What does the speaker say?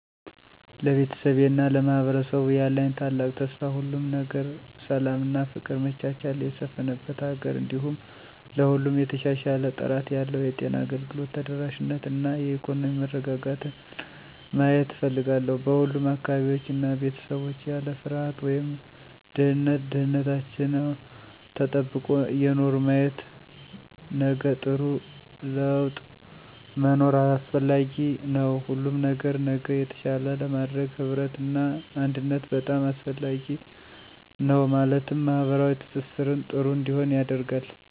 ለቤተሰቤ እና ለማህበረሰቡ ያለኝ ታላቅ ተስፋ ሁሉም ነገር ሰላም እና ፍቅር መቻቻል የሰፍነበት ሀገር እንዲሁም ለሁሉም የተሻሻለ ጥራት ያለው የጤና አገልግሎት ተደራሽነት እና የኢኮኖሚ መረጋጋትን ማየት እፍልጋለሁ። በሁሉም አካባቢዎች እና ቤተሰቦች ያለ ፍርሃት ወይም ድህነት ደህንንታችው ተጠብቆ እየኖሩ ማየት። ነገጥሩ ላወጥ መኖር አሰፍላጊ ነዉ ሁሉም ነገር ነገ የተሻለ ለማድረግ ህብረት እና አንድነት በጣም አሰፍላጊ ነው ማለትም ማህበራዊ ትሰሰርን ጥሩ እንዲሆን ያደርጋል።